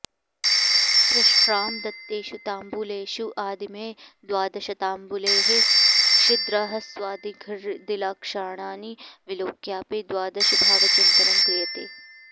प्रष्ट्रा दत्तेषु ताम्बूलेषु आदिमैः द्वादशताम्बूलैः छिद्रह्रस्वदिर्घादिलक्षणानि विलोक्यापि द्वादशभावचिन्तनं क्रियते